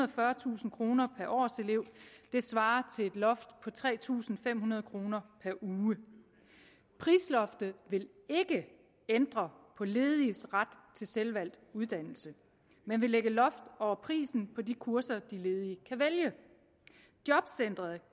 og fyrretusind kroner per årselev det svarer til et loft på tre tusind fem hundrede kroner per uge prisloftet vil ikke ændre på lediges ret til selvvalgt uddannelse men vil lægge loft over prisen på de kurser de ledige kan vælge jobcenteret